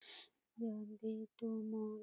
माल --